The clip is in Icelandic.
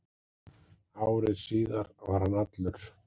Ári síðar var hann allur